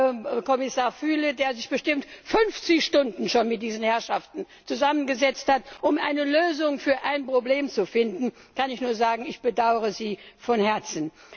Zu Herrn Kommissar Füle, der sich bestimmt schon 50 Stunden mit diesen Herrschaften zusammengesetzt hat, um eine Lösung für das Problem zu finden, kann ich nur sagen Ich bedaure Sie von Herzen!